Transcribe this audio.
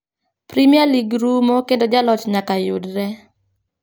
Premier league rumo kendo jaloch nyaka yudre.